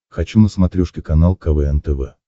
хочу на смотрешке канал квн тв